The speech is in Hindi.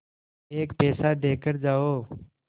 एक पैसा देकर जाओ